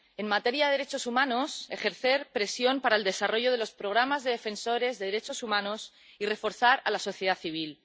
en materia de derechos humanos, ejercer presión para el desarrollo de los programas de defensores de los derechos humanos y reforzar a la sociedad civil.